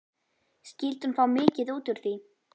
Skyldi hún fá mikið út úr því?